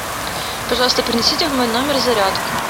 пожалуйста принесите в мой номер зарядку